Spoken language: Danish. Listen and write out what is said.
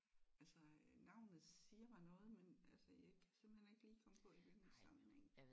Altså øh navnet siger mig noget men altså jeg kan simpelthen ikke lige komme på i hvilken sammenhæng